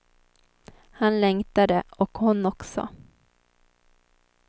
Han längtade, och hon också.